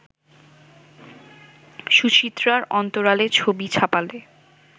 সুচিত্রার অন্তরালের ছবি ছাপালে